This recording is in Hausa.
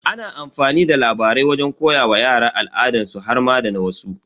Ana amfani da labarai wajen koya wa yara al'adansu har ma da na wasu.